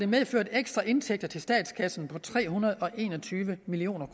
medført ekstra indtægter til statskassen på tre hundrede og en og tyve million